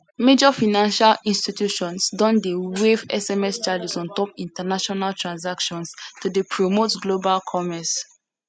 major financial institutions don dey waive sms charges on top international transactions to dey promote global commerce